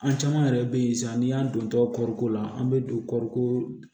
An caman yɛrɛ be yen sisan n'i y'a don tɔ kɔriko la an be don kɔriko